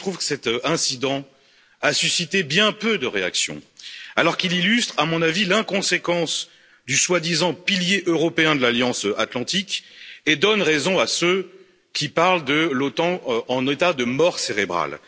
Je trouve que cet incident a suscité bien peu de réactions, alors qu'il illustre, à mon avis, l'inconséquence du prétendu pilier européen de l'Alliance Atlantique et donne raison à ceux qui parlent de l'OTAN en état de mort cérébrale.